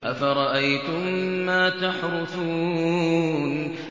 أَفَرَأَيْتُم مَّا تَحْرُثُونَ